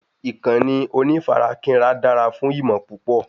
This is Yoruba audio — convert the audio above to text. ìkànnì onífarakínra dára fún ìmọ̀ púpọ̀